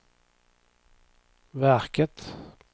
verket